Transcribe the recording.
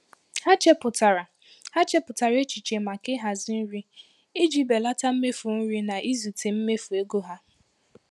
Ha chepụtara Ha chepụtara echiche maka ịhazi nri iji belata mmefu nri na izute mmefu ego ha.